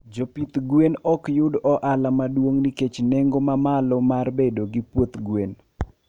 Jopidh gwen okyud ohala maduong nikech nengo ma malo mar bedo gi puoth gwen